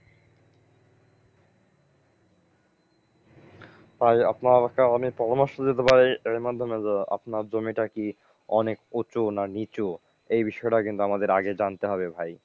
ভাই আপনাকে আমি পরামর্শ দিতে পারি এর মাধ্যমে যে আপনার জমিটা কি অনেক উঁচু না নিচু এই বিষয়টা কিন্তু আমাদের আগে জানতে হবে ভাই।